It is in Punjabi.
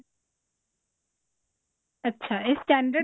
ਅੱਛਾ ਇਹ